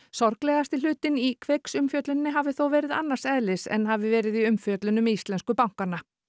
sorglegasti hlutinn í Kveiks umfjölluninni hafi þó verið annars eðlis en hafi verið í umfjöllun um íslensku bankanna